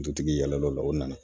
Dutigi yɛlɛla o la o nana